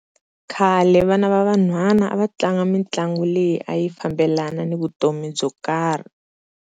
Khale vana va van'hwana a va tlanga mitlangu leyi a yi fambelana ni vutomi byo karhi.